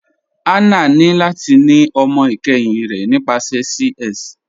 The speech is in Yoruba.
Hannah ni lati ni ọmọ ikẹhin rẹ nípasẹ CS.